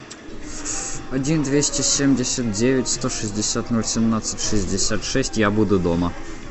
один двести семьдесят девять сто шестьдесят ноль семнадцать шестьдесят шесть я буду дома